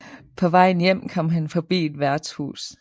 På vejen hjem kom han forbi et værtshus